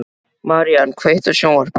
Marían, kveiktu á sjónvarpinu.